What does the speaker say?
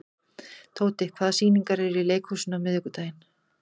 Tóti, hvaða sýningar eru í leikhúsinu á miðvikudaginn?